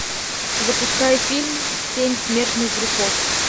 запускай фильм семь смертных грехов